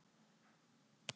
Atvinnumennskan er freistandi